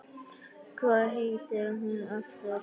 Hvað heitir hún aftur?